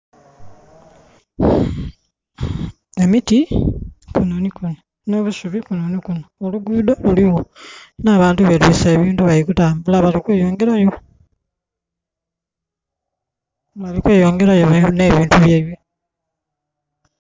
Emiti kuno ni kuno, n'obusubi kuno ni kuno. Oluguudo luliwo, n'abantu betwiise ebintu bali kutambula bali kweyongerayo. Balikweyongerayo eyo n'ebintu byaibwe.